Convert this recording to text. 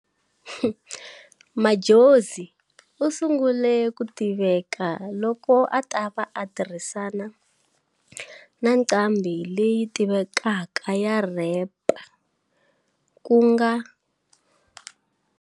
Madjozi usungule ku tiveka loko atava a tirhisana na nqambhi leyi tivekaka ya rap kunga.